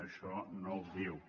això no ho diu